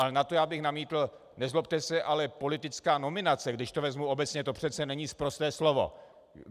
Ale na to já bych namítl, nezlobte se, ale politická nominace, když to vezmu obecně, to přece není sprosté slovo.